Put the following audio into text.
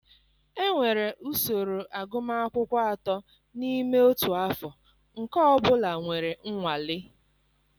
Enwere usoro agụmakwụkwọ atọ n'ime otu afọ, nke ọ bụla nwere nwale.